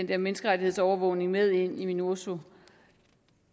der menneskerettighedsovervågning med ind i minurso